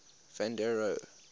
van der rohe